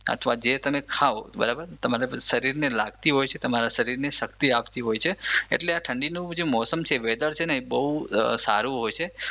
અથવા જે તમે ખાવ બરાબર તમારા શરીરને લાગતી હોય છે તમારા શરીરની શક્તિ આપતી હોય છે એટલે આ ઠંડીનું જે મોસમ છે વેધર છે ને એ બહુ સારું હોય છે